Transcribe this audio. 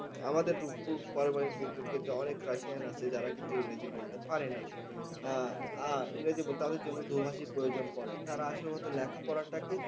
আমাদের অনেক রাশিয়ান আছে যারা কিন্তু ইংরেজি বলতে পারেনা। আহ তাদের জন্য দোভাষীর প্রয়োজন পরে। তারা আসল কথা, লেখাপড়াটাকে